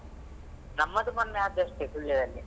ನಮ್ಮದು ಮೊನ್ನೆ ಆದದಷ್ಟೇ Sullia ದಲ್ಲಿ.